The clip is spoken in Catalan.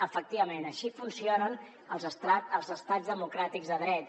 efectivament així funcionen els estats democràtics de dret